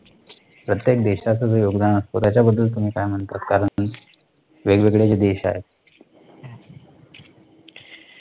प्रत्येक देशाचं जे योगदान असत त्याच्याबद्दल तुम्ही काय म्हणता? कारण, वेगवेगळे जे देश आहेत.